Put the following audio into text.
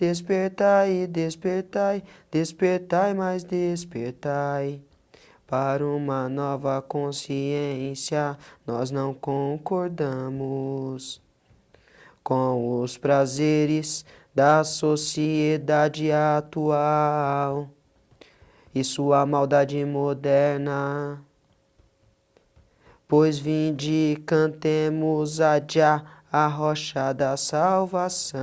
Despertai, despertai despertai, mais despertai para uma nova consciência nós não concordamos Com os prazeres da sociedade atual e sua maldade moderna, pois vinde cantemos a adiá a rocha da salvação